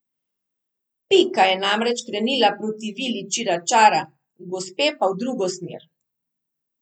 Pika je namreč krenila proti vili Čiračara, gospe pa v drugo smer.